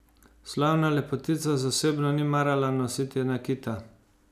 Slavna lepotica zasebno ni marala nositi nakita.